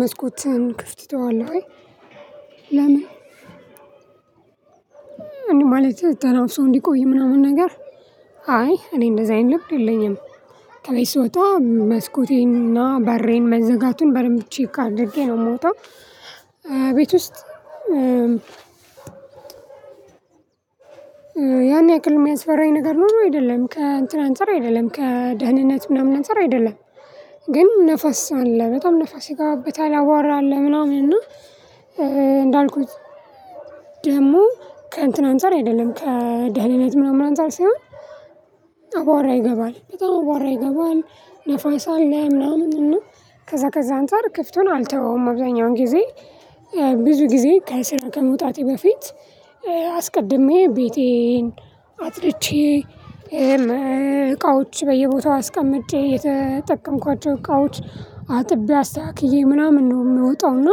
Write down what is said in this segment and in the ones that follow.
መስኮትን ክፍት ይተዋል ወይ ለምን? ማለት ተናፍሶ እንዲቆይ ምናምን ነገር አይ እኔ እንደዚህ አይነት ልብ የለኝም። ከቤት ስወጣ መስኮቴንና በሬን መዘጋቱን በደንብ ቼክ አድርጌ ነው የምወጣው። ቤት ውስጥ ያን ያክል የሚያስፈራኝ ነገር ኖሮ አይደለም ከእንት አንፃር አይደለም ከደህንነት ምናምን አንፃር አይደለም። ግን ንፋስ አለ በጣም ንፋስ ይገባበታል አቧራ አለ አለ ምናምን እና እንዳልኩት ደግሞ ከእንትን አንፃር አይደለም ከደህንነት ምናምን አንፃር ሳይሆን አቧራ ይገባል በጣም አቧራ ይገባል ንፋስ አለ ምናምን እና ከዛ ከዛ አንፃር ክፍቱን አልተወውም። አብዛኛውን ጊዜ ብዙ ጊዜ ከስራ ከመውጣቴ በፊት አስቀድሜ ቤቴን አጥፅድቼ እቃዎች በየቦታው አስቀምጬ የተጠቀምኳቸው እቃዎች አጥቤ አስተካክዬ ምናምን ነው የምወጣው። እና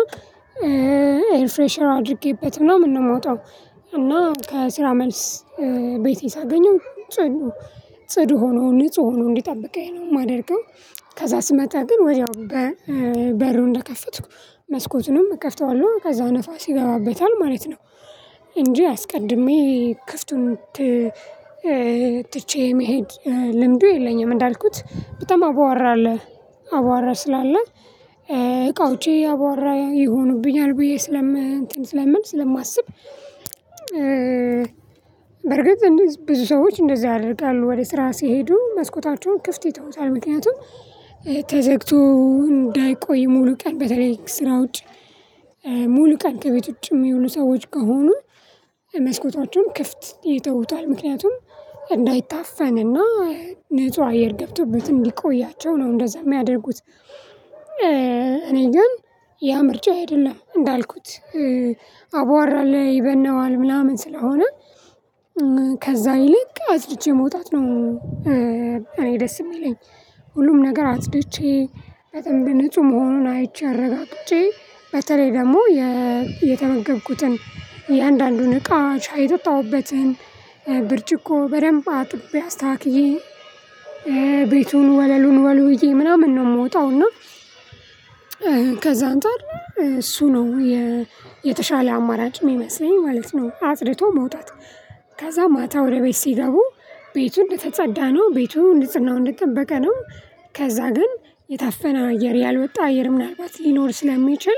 ኤርፍሬሸር አድርጌበት ምናምን ነው የምወጣው። እና ከስራ መልስ ቤቴ ሳገኘው ጽዱ ጽዱ ሆኖ ንጹህ ሆኖ እንዲጠብቀኝ ነው የማደርገው። ከዛ ስመጣ ግን ወዲያው በሩን እንደከፈትኩ መስኮቱንም እከፍተዋለሁ ከዛ ንፋስ ይገባበታል ማለት ነው። እንጂ አስቀድሜ ክፍቱን ትቼ መሄድ ልምዱ የለኝም። እንዳልኩት በጣም አቧራ አለ አቧራ ስላለ እቃዎጬ አቧራ ይሆኑብኛል ብዬ ስለም እንትን ስለምል ስለማስብ። በርግጥ ብዙ ሰዎች እንደዛ ያደርጋሉ ወደ ስራ ሲሄዱ መስኮታቸውን ክፍት ይተውታል ምክንያቱም ተዘግቶ እንዳይቆይ ሙሉ ቀን በተለይ ስራ ውጭ ሙሉ ቀን ከቤት ውጭ የሚውሉ ሰዎች ከሆኑ መስኮታቸውን ክፍት ይተውታል ምክንያቱም እንዳይታፈንና ንጹህ አየር ገብቶበት እንዲቆያቸው ነው እንደዛ የሚያደርጉት። እኔ ግን ያ ምርጫዬ አይደለም እንዳልኩት አቧራ አለ ይበነዋል ምናምን ስለሆነ ከዛ ይልቅ አጽድቼ መውጣት ነው። እኔ ደስ የሚለኝ ሁሉም ነገር አጽድቼ በደንብ ንጹህ መሆኑን አይቼ አረጋግጬ በተለይ ደግሞ የተመገብኩትን የአንዳንዱን እቃ ሻይ የጠጣሁበትን ብርጭቆ በደንብ አጥቤ አስተካክዬ ቤቱን ወለሉን ወልውዬ ምናምን ነው የምወጣው። እና ከዛ አንፃር እሱ ነው የተሻለ አማራጭ የሚመስለኝ ማለት ነው። አጽድቶ መውጣት ከዛ ማታ ወደ ቤት ሲገቡ ቤቱን የተጸዳ ነው ቤቱን ንጽህናውን እንደጠበቀ ነው። ከዛ ግን የታፈነ አየር ያልወጣ አየር ምናልባት ሊኖር ስለሚችል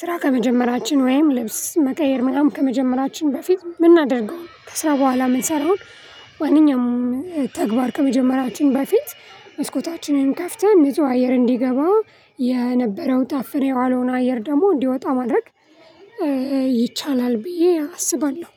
ስራ ከመጀመራችን ወይም ልብስ መቀየር ምናምን ከመጀመራችን በፊት የምናደርገው ከስራ በኋላ የምንሰራው ነገር ማንኛውም ተግባር ከመጀመራችን በፊት መስኮታችንን ከፍተን ንጹ አየር እንዲገባ የነበረው ታፍኖ የዋለውን አየር ደግሞ እንዲወጣ ማድረግ ይቻላል ብዬ አስባለሁ።